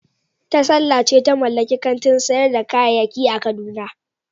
Tasalla ce ta mallaki kantin sayar da kayayyaki a kaduna.